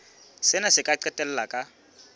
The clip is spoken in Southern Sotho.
sena se ka qetella ka